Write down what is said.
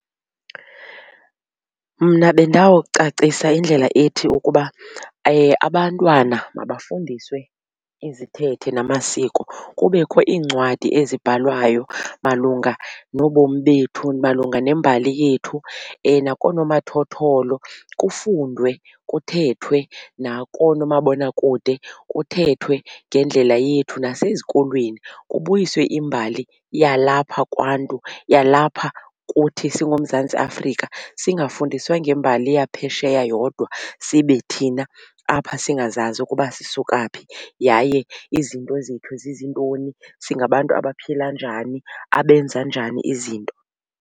Mna bendawucacisa indlela ethi ukuba abantwana mabafundiswe izithethe namasiko kubekho iincwadi ezibhalwayo malunga nobomi bethu malunga nembali yethu. Nakoonomathotholo kufundwe, kuthethwe nakoomabonakude kuthethwe ngendlela yethu. Nasezikolweni kubuyiswe imbali yalapha kwaNtu yalapha kuthi singuMzantsi Afrika singafundiswa ngembali yaphesheya yodwa sibe thina apha singazazi ukuba sisuka phi yaye izinto zethu zizintoni singabantu abaphila njani abenza njani izinto.